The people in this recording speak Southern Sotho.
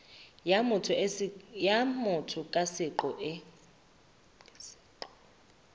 ya motho ka seqo e